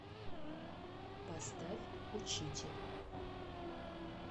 поставь учитель